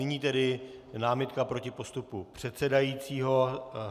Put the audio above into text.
Nyní tedy námitka proti postupu předsedajícího.